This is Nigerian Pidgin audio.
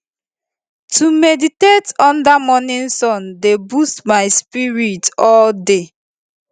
to meditate under morning sun dey boost my spirit all day